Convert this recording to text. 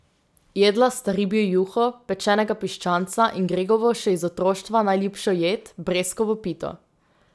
Jedla sta ribjo juho, pečenega piščanca in Gregovo še iz otroštva najljubšo jed, breskovo pito.